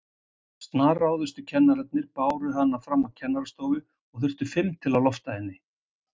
Snarráðustu kennararnir báru hana fram á kennarastofu og þurfti fimm til að lofta henni.